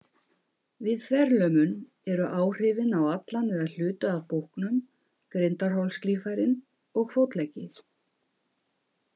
Við þverlömun eru áhrifin á allan eða hluta af búknum, grindarholslíffærin og fótleggi.